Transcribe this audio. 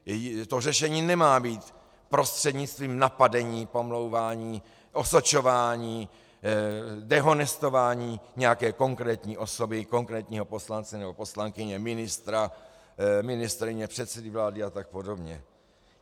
To řešení nemá být prostřednictvím napadení, pomlouvání, osočování, dehonestování nějaké konkrétní osoby, konkrétního poslance nebo poslankyně, ministra, ministryně, předsedy vlády a tak podobně.